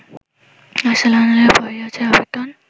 আর্সেনালের পরেই আছে এভারটন